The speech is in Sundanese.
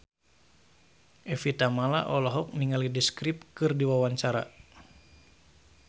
Evie Tamala olohok ningali The Script keur diwawancara